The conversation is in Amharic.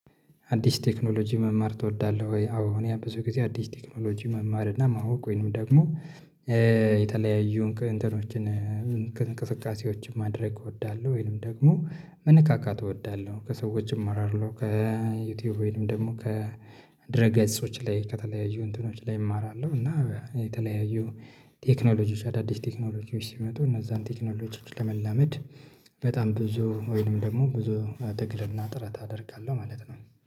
አዲስ ቴክኖሎጂ መማር ትወዳለህ ወይ? አዎ እኔ ብዙ ጊዜ አዲስ ቴክኖሎጂ መማር እና ማወቅ ወይንም ደግሞ እንትኖችን እንቅስቃሴዎችን ማድረግ እወዳለሁ። ወይንም ደግሞ መነካካት እወዳለህ? ከሰዎችም አራርለሁ ከዩቲዩብ ወይም ደግሞ ከድረገጾች ላይ ከተለያዩ እንትኖች ላይ እማራለሁ። እና የተለያዩ ቴክኖሎጂዎች አዳዲስ ቴክኖሎጂዎች ሲመጡ እነዛን ቴክኖሎጂዎች ለመላመድ በጣም ብዙ ወይንም ደግሞ ብዙ ትግልና ጥረት አደርጋለሁ ማለት ነው